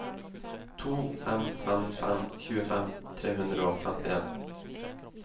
to fem fem fem tjuefem tre hundre og femtien